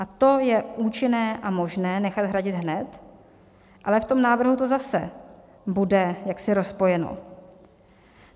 A to je účinné a možné nechat hradit hned, ale v tom návrhu to zase bude jaksi rozpojeno.